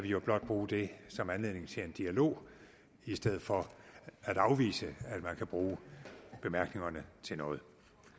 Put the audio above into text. jo blot bruge det som anledning til en dialog i stedet for at afvise at man kan bruge bemærkningerne til noget